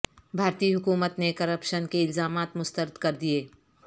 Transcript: بھارتی حکومت نے کرپشن کے الزامات مسترد کر دیے